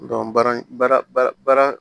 baara baara baara baara